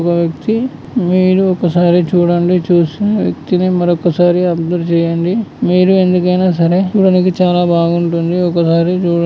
ఒక వ్యక్తి మీరు ఒకసారి చూడండి చూసి వ్యక్తిని మరొకసారి అబ్జర్వ్ చేయండి. మీరు ఎందుకైనా సరే వీనికి చాలా బాగుంటుంది ఒకసారి --చూడ.